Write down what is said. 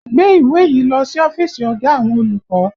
Gbé ìwé yìí lọ sí ọ́fíìsì ọ̀gá àwọn olùkọ́!